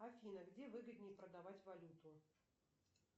афина где выгоднее продавать валюту